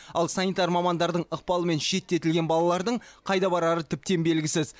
ал санитар мамандардың ықпалымен шеттетілген балалардың қайда барары тіптен белгісіз